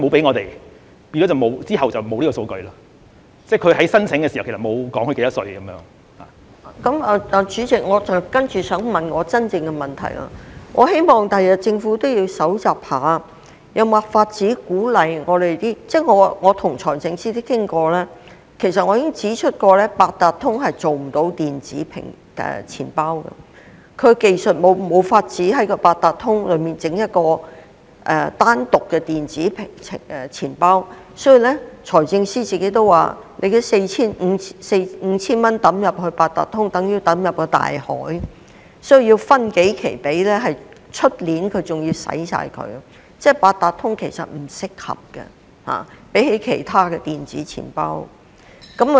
我希望政府將來也要搜集一下數據，看看是否有辦法鼓勵我們的......我曾跟財政司司長討論，其實我已經指出，八達通卡是做不到電子錢包的功能，技術上沒有辦法在八達通卡內設立一個單獨的電子錢包，所以財政司司長亦表示，把這 5,000 元放入八達通卡，等於丟入大海，消費券不但需要分數期發放，還要明年全部花光，相比起其他的電子錢包，八達通卡其實是不適合的。